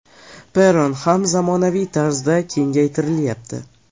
Perron ham zamonaviy tarzda kengaytirilyapti.